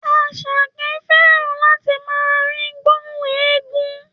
Àṣàkẹ́ fẹ́ràn láti máa rí gbóhùn éégún